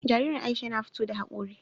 Jaririn Aisha yana fito da haƙori.